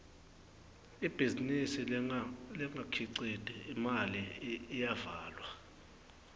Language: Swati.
ibhizinisi lengakhiciti imali iyavalwa